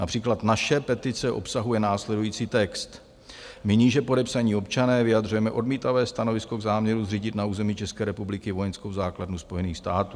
Například naše petice obsahuje následující text: "My níže podepsaní občané vyjadřujeme odmítavé stanovisko k záměru zřídit na území České republiky vojenskou základnu Spojených států.